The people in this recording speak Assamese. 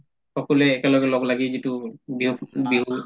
সকলোয়ে একে লগলাগি যিটো বিহুক বিহু